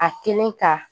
A kelen ka